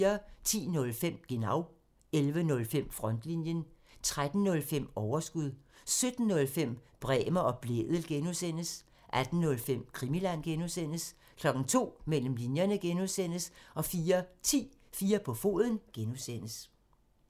10:05: Genau (tir) 11:05: Frontlinjen (tir) 13:05: Overskud (tir) 17:05: Bremer og Blædel (G) (tir) 18:05: Krimiland (G) (tir) 02:00: Mellem linjerne (G) (tir) 04:10: 4 på foden (G) (tir)